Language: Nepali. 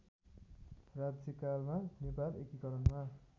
राज्यकालमा नेपाल एकीकरणमा